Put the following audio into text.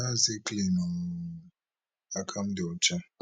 my hands dey clean oooooooooooo akam di ocha